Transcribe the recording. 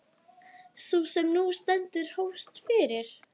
Sú sem nú stendur hófst fyrir